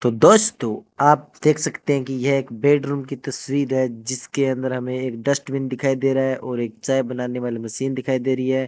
तो दोस्तों आप देख सकते हैं कि यह एक बेडरूम की तस्वीर है जिसके अंदर हमें एक डस्टबिन दिखाई दे रहा है और एक चाय बनाने वाली मशीन दिखाई दे रही है।